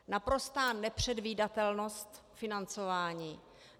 Naprostá nepředvídatelnost financování.